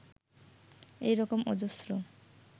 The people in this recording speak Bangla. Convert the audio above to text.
এই রকম অজস্র